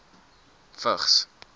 vigs